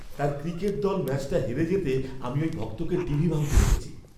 তার ক্রিকেট দল ম্যাচটা হেরে যেতে আমি ওই ভক্তকে টিভি ভাঙতে দেখেছি!